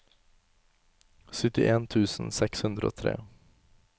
syttien tusen seks hundre og tre